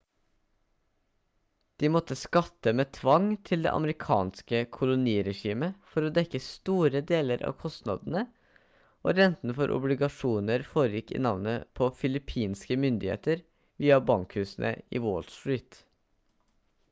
de måtte skatte med tvang til det amerikanske koloniregimet for å dekke store deler av kostnadene og renten for obligasjoner foregikk i navnet på filippinske myndigheter via bankhusene i wall street